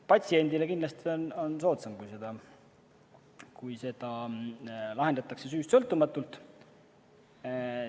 Patsiendile on kindlasti soodsam, kui seda lahendatakse süüst sõltumatult.